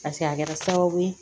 paseke a kɛra sababu ye